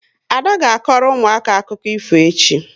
Ada ga akoro ụmụaka akụkọ ifo echi